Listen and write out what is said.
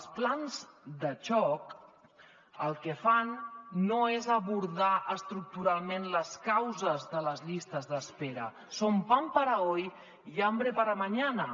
els plans de xoc el que fan no és abordar estructuralment les causes de les llistes d’espera son pan para hoy y hambre para mañana